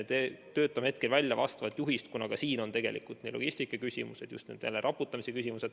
Töötame hetkel välja vastavat juhist, kuna ka siin on tegelikult logistika küsimused, just jälle see raputamise küsimus.